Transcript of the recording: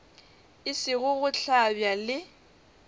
e sego go hlabja le